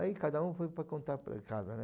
Aí cada um foi para contar para casa, né?